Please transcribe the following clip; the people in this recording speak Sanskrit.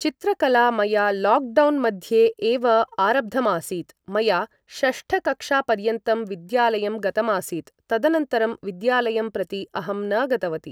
चित्रकला मया लाक् डौन् मध्ये एव आरब्धमासीत् मया षष्ठकक्षापर्यन्तं विद्यालयं गतमासीत् तदनन्तरं विद्यालयं प्रति अहं न गतवती